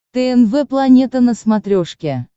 тнв планета на смотрешке